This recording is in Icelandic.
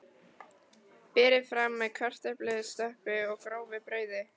Berið fram með kartöflustöppu og grófu brauði.